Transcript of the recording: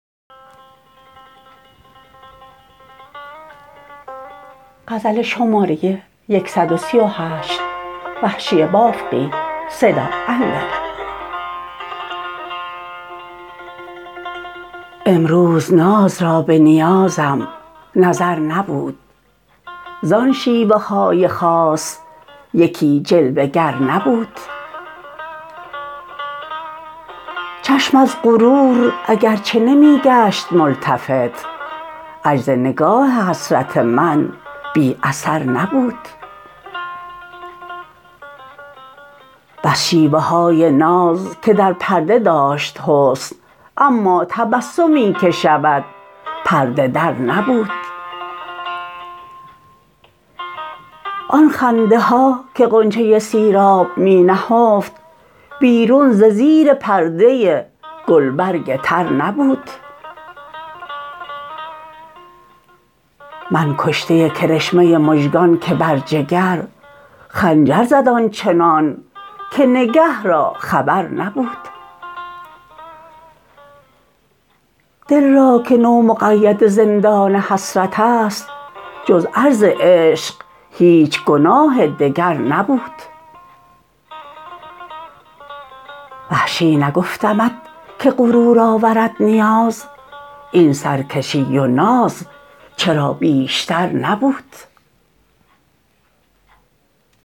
امروز ناز را به نیازم نظر نبود زان شیوه های خاص یکی جلوه گر نبود چشم از غرور اگر چه نمی گشت ملتفت عجز نگاه حسرت من بی اثر نبود بس شیوه های ناز که در پرده داشت حسن اما تبسمی که شود پرده در نبود آن خنده ها که غنچه سیراب می نهفت بیرون ز زیر پرده گلبرگ تر نبود من کشته کرشمه مژگان که بر جگر خنجر زد آنچنان که نگه را خبر نبود دل را که نومقید زندان حسرت است جز عرض عشق هیچ گناه دگر نبود وحشی نگفتمت که غرور آورد نیاز این سرکشی و ناز چرا بیشتر نبود